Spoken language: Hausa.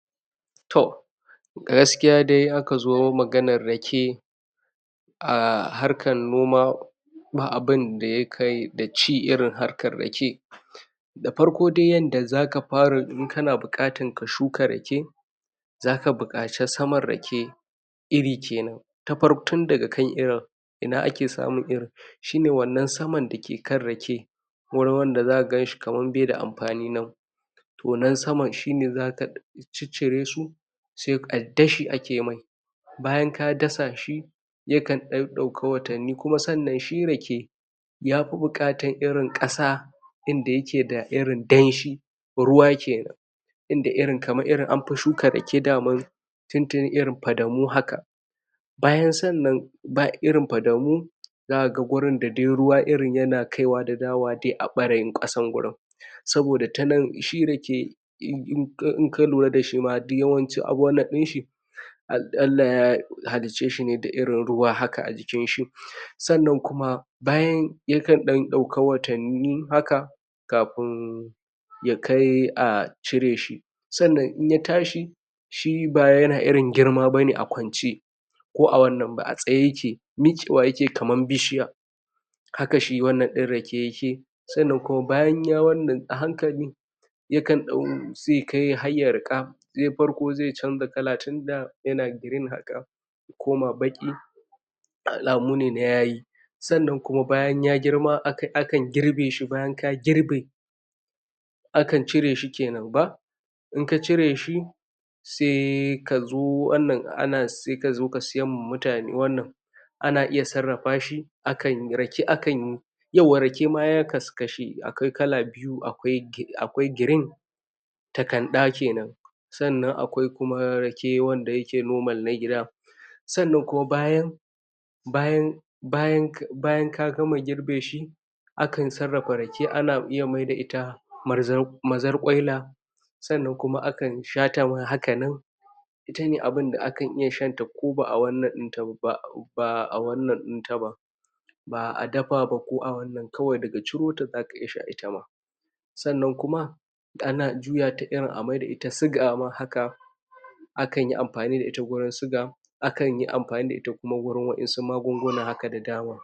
Toh gaskiya dai, aka zo maganar rake a harkan noma ba abunda ya kai da ci irin harkar rake da farko dai yanda za ka fara, in ka na bukatan ka shuka rake za ka bukace samar rake iri kenan ta far, tun da ga kai irin, ina a ke samun irin shi ne wannan samar da ke kan rake wurin wanda za ka gan shi kamar be da amfani nan toh nan saman shi ne za ka cicire su sai a dashi a ke mai bayan ka dasa shi ya kan dau dauka watani kuma sannan shi rake ya fi bukatan irin kasa inda yake da irin danshi, ruwa kenan inda irin, kamar irin anpi shuka rake daman tuntuni irin padamu haka bayan sannan, bai irin padamu za ka gan gurin da dai ruwa irin yana kai wa da dawa dai a barayin kasan gurin saboda ta nan, shi rake In ka lura da sh ma, duk yamanci a wannan din shi al Allah ya halice shi ne da irin ruwa haka a jikin shi sannan kuma, bayan ya kan dan dauka watanni haka kafun ya kai a cire shi, sannan in ya tashi shi ba wai ya na irin girma ba ne a kwance ko a wannan ba, a saye ya ke, mike wa ya ke kaman bishiya haka shi wannan din rake ya ke sannan kuma bayan ya wannan, a hankali yakan dau sai ya kai har ya rika zai farko, zai canza kala tunda ya na green haka koma baƙi alamu ne na yayi sannan kuma bayan ya girma, a kam girbe shi bayan ka girbe a kan cire shi kenan ba in ka cire shi se ka zo wannan a na se ka zo ka siyan ma mutane wannan a na iya tsarapa shi, akan rake akan yawwa rake ma ya, kaskashe, akwai kala biyu akwai, akwai girin takanɗa kenan sannan akwai kuma rake wanda ya ke normal na gida sannan kuma bayan bayan, bayan bayan ka gama girbe shi a kan tsarapa rake, a na iya ai da ita mazar, mazarkwaila sannan kuma a kan sha ta ma hakan nan ita ne abunda a kan iya, shanta ko baa wannan din ta ba'a baa wannan dinta ba baa dafa ba ko a wannan, kawai da ga ciro ta za ka iya sha ita ma sannan kuma ana juya ta, irin a mai da ita suga ma haka a kan yi ampani da ita gurin suga akan yi ampani da ita kuma gurin waen su magunguna haka da dama.